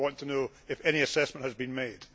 I want to know if any assessment has been made.